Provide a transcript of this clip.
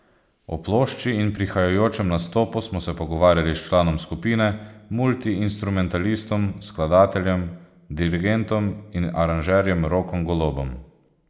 O plošči in prihajajočem nastopu smo se pogovarjali s članom skupine, multiinstrumentalistom, skladateljem, dirigentom in aranžerjem Rokom Golobom.